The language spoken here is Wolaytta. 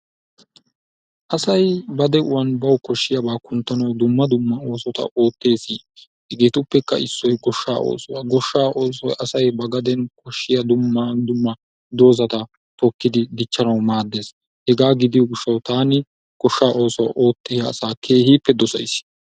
Asay ba de'uwan bawu koshiyaba kunttanawu dumma dumma oosota oottees. Hegeetuppekka issoy goshshaa oosuwa. Goshshaa oosoy asay ba gaden koshiya dumma dumma dozzata tokkidi dichanawu maades. Hegaa gidiyo gishshawu taani goshaa oossuwa oottiya asaa keehippe dosays.